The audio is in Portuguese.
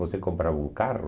Você comprava um carro?